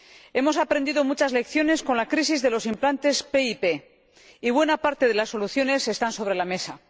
Hemos aprendido muchas lecciones con la crisis de los implantes PIP y buena parte de las soluciones están sobre la mesa.